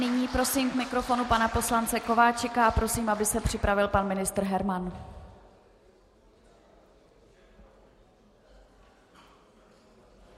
Nyní prosím k mikrofonu pana poslance Kováčika a prosím, aby se připravil pan ministr Herman.